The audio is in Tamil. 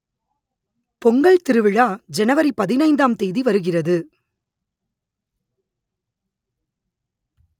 பொங்கல் திருவிழா ஜனவரி பதினைந்தாம் தேதி வருகிறது